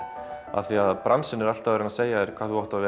af því það bransinn er alltaf að reyna segja þér hvað þú átt að